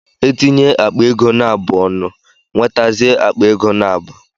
E tinye akpa ego naabụ ọnụ, nwetazie akpa ego naabu